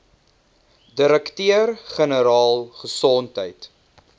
direkteur generaal gesondheid